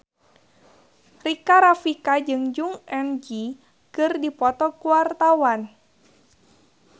Rika Rafika jeung Jong Eun Ji keur dipoto ku wartawan